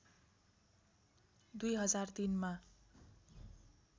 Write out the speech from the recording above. २००३ मा